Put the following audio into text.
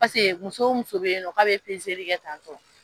Pase muso o muso be yen nɔ k'a be peseli kɛ tantɔ